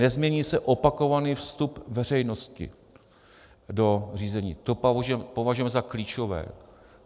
Nezmění se opakovaný vstup veřejnosti do řízení, to považujeme za klíčové.